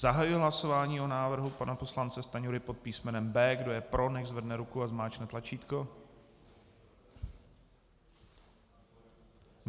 Zahajuji hlasování o návrhu pana poslance Stanjury pod písmenem B. Kdo je pro, nechť zvedne ruku a zmáčkne tlačítko.